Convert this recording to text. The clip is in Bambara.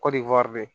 Kɔdiwari